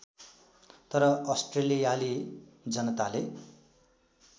तर अस्ट्रेलियाली जनताले